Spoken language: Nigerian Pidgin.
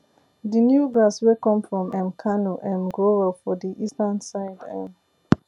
the new grass wey come from um kano um grow well for the eastern side um